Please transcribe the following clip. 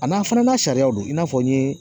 A n'a fana n'a sariya don i n'a fɔ n ye